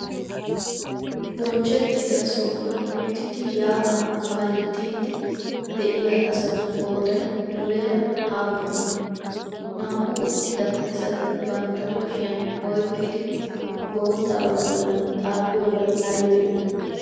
bonchchettidaa sohuwan uttidi ya7aa kaalettiydi de7iya asatu qooday muleeraa appunee? naa7u uttidaa asati bantta kushiyan oyqqidi bottaba bollan xafiyobaay aybee?